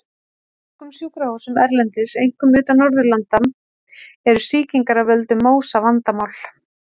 Á mörgum sjúkrahúsum erlendis, einkum utan Norðurlanda, eru sýkingar af völdum MÓSA vandamál.